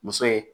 Muso ye